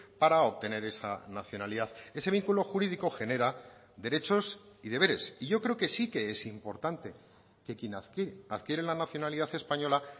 para obtener esa nacionalidad ese vínculo jurídico genera derechos y deberes y yo creo que sí que es importante que quien adquiere adquiere la nacionalidad española